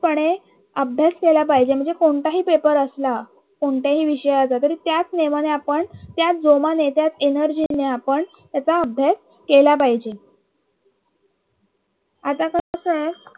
पणे अभ्यास केला पाहिजे म्हणजे कोणताही paper असला कोणत्याही विषयाचा तरी त्याच नियमाने आपण त्याचा जोमाने त्याच energy ने आपण त्याचा अभ्यास आपण केला पाहिजे आता कस आहे